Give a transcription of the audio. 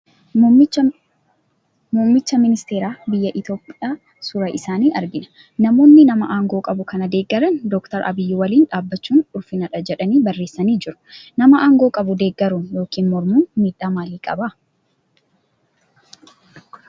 Muummicha ministeera biyya Itoophiyaa suura isaanii argina. Namoonni nama aangoo qabu kana deeggaran Dookter Abiyyi waliin dhaabbachuun ulfinadha jedhanii barreessanii jiru. Nama aangoo qabu deeggaruun yookiin mormuun miidhaa maalii qabaa?